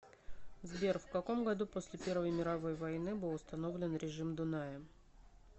сбер в каком году после первой мировой войны был установлен режим дуная